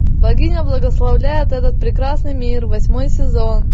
богиня благословляет этот прекрасный мир восьмой сезон